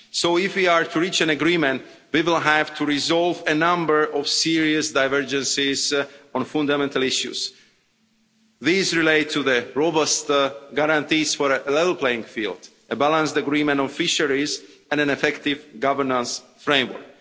So if we are to reach an agreement, we will have to resolve a number of serious divergences on fundamental issues. These relate to the robust guarantees for a level playing field, a balanced agreement on fisheries, and an effective governance framework.